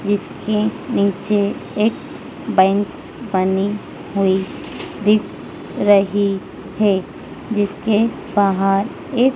जिसके नीचे एक बैंक बनी हुई दिख रही है जिसके बाहर एक--